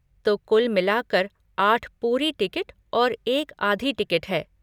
तो कुल मिलाकर आठ पूरी टिकट और एक आधी टिकट है।